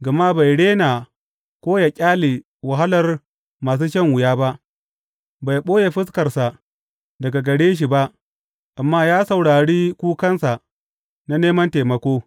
Gama bai rena ko yă ƙyale wahalar masu shan wuya ba; bai ɓoye fuskarsa daga gare shi ba amma ya saurari kukansa na neman taimako.